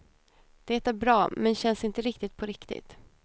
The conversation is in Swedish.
Det är bra, men känns inte riktigt på riktigt.